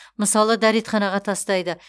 мысалы дәретханаға тастайды